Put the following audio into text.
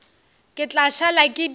ke tla šala ke di